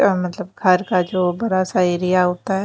अह मतलब हर घर जो बरा सा एरिया होता है।